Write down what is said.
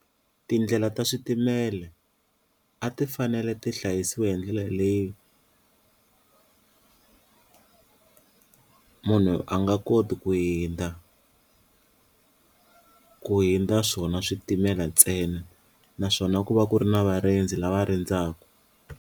Tindlela ta switimele a ti fanele ti hlayisiwa hi ndlela leyi munhu a nga koti ku hundza ku hundza swona switimela ntsena naswona ku va ku ri na varindzi lava rindzaku.